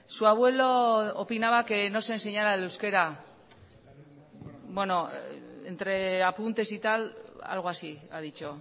su abuelo opinaba que no se enseñara el euskera entre apuntes y tal algo así ha dicho